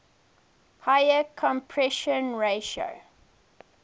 higher compression ratio